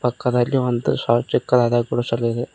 ಪಕ್ಕದಲ್ಲಿ ಒಂದು ಶಾ ಚಿಕ್ಕದಾದ ಗುಡಸಲಿದೆ.